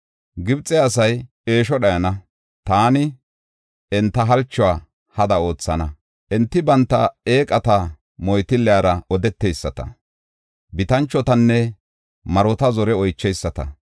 Gibxe asay eesho dhayana; taani enta halchuwa hada oothana. Enti banta eeqata, moytillera odeteyisata, bitanchotanne marota zore oychana.